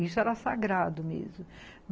Isso era sagrado mesmo.